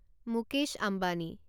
Mukesh Ambani